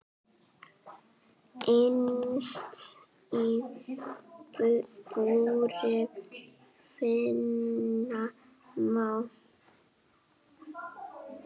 Innst í búri finna má.